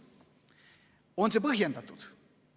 On see põhjendatud?